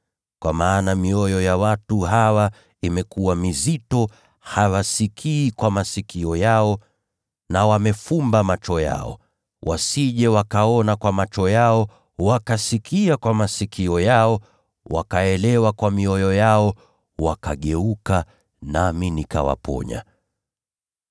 Kwa kuwa mioyo ya watu hawa imekuwa migumu; hawasikii kwa masikio yao, na wamefumba macho yao. Wasije wakaona kwa macho yao, na wakasikiliza kwa masikio yao, wakaelewa kwa mioyo yao, na kugeuka nami nikawaponya.’